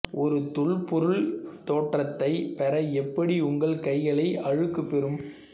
ஒரு தொல்பொருள் தோற்றத்தை பெற எப்படி உங்கள் கைகளை அழுக்கு பெறவும்